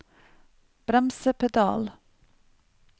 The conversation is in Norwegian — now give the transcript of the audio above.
bremsepedal